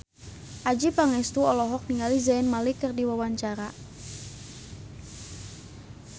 Adjie Pangestu olohok ningali Zayn Malik keur diwawancara